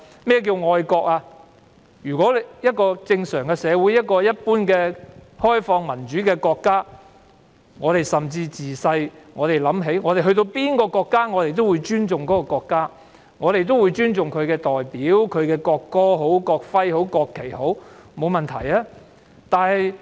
在一個正常社會，一個開放民主的國家，人們從小已懂得尊重，到訪任何國家都會尊重其國家及代表國家的國歌、國徽及國旗。